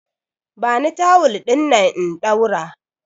Bani tawul dinnan in ɗaura!